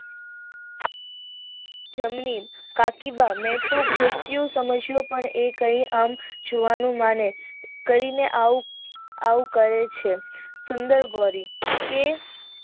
જમણી કાકીબા મેતો ઘસ્યું સમજ્યું કઈ આમ માને કે ને આવું કહે છે સુંદર ગોરી કે